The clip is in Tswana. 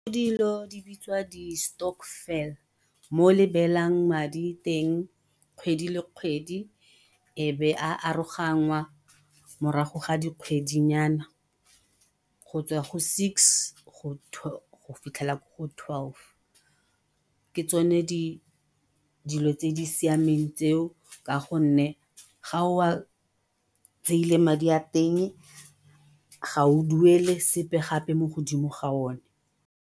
di bitswa di-stokvel mo le beelang madi teng kgwedi le kgwedi e be a aroganngwa morago ga dikgwedinyana go tswa go six go fitlhelela ko go twelve, ke tsone dilo tse di siameng tseo ka gonne ga o a tseile madi a teng ga o duele sepe gape mo godimo ga o ne.